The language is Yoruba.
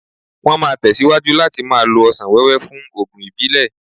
Wọ́n máa tẹ̀síwájú láti máa lo ọsàn wẹ́wẹ́ fún oògùn ìbílẹ̀.